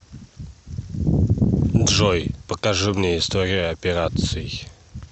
джой покажи мне историю операций